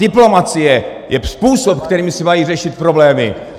Diplomacie je způsob, kterým se mají řešit problémy.